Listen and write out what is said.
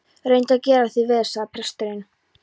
Reyndu að bera þig vel, sagði presturinn.